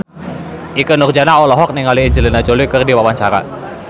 Ikke Nurjanah olohok ningali Angelina Jolie keur diwawancara